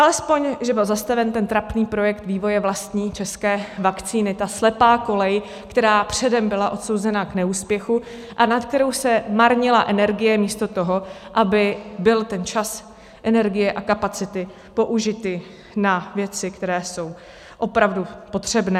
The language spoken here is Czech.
Alespoň že byl zastaven ten trapný projekt vývoje vlastní české vakcíny, ta slepá kolej, která předem byla odsouzena k neúspěchu a nad kterou se marnila energie místo toho, aby byly ten čas, energie a kapacity použity na věci, které jsou opravdu potřebné.